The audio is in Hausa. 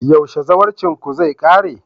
yaushe zawarcinku zai kare?